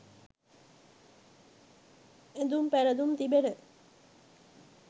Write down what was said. ඇඳුම් පැළඳුම් තිබෙන